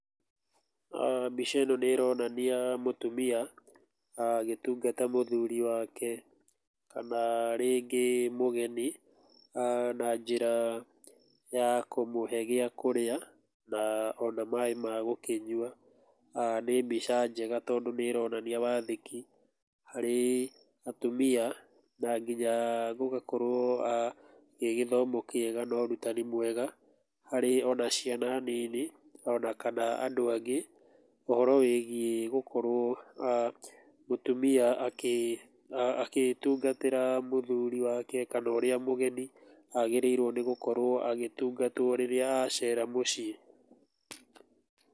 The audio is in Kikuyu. Mbica ĩno nĩ ĩronania mũtumia agĩtungata mũthuri wake kana rĩngĩ mũgeni na njĩra ya kũmũhe gĩa kũrĩa na ona maĩ magũkĩnyua ,nĩ mbica njega tondũ nĩ ironania wathĩkĩ harĩ atumia na nginya gũgakorwo gĩgĩthomo kĩega na ũrũtani mwega harĩ ona ciana nini ona kana andũ angĩ ũhoro wĩgĩ gũkorwo mũtumia agĩtungatĩra mũthuri wake kana ũrĩa mũgeni agĩrĩirwo nĩ gũkorwo agĩtungatwo rĩrĩa acera mũciĩ.